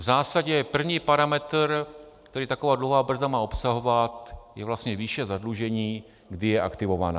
V zásadě první parametr, který taková dluhová brzda má obsahovat, je vlastně výše zadlužení, kdy je aktivovaná.